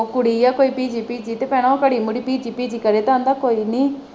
ਉਹ ਕੁੜੀ ਹੈ ਫਿਰ ਪੀਚੀ ਪੀਚੀ ਤੇ ਕਹਿਣਾ ਘੜੀ ਮੁੜੀ ਪੀਚੀ ਪੀਚੀ ਕਰੇ ਤੇ ਆਂਦਾ ਕੋਈ ਨੀ।